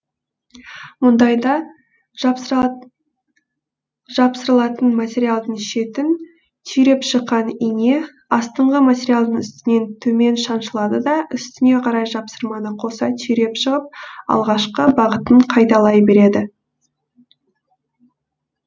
мұндайда жапсырылатын материалдың шетін түйреп шыққан ине астыңғы материалдың үстінен төмен шаншылады да үстіне қарай жапсырманы қоса түйреп шығып алғашқы бағытын қайталай береді